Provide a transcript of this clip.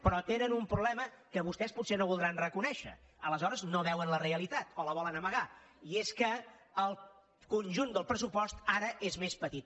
però tenen un problema que vostès potser no voldran reconèixer aleshores no veuen la realitat o la volen amagar i és que el conjunt del pressupost ara és més petit